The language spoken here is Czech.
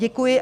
Děkuji.